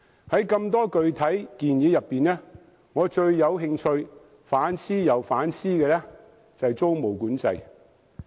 在眾多具體建議中，我最有興趣並且反覆思量的是租務管制。